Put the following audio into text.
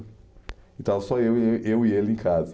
E estava só eu e eh eu e ele em casa.